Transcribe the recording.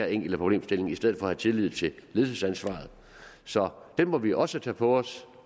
enkelte problemstilling i stedet for at have tillid til ledelsesansvaret så den må vi også tage på os